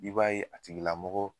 I b'a ye a tigila mɔgɔ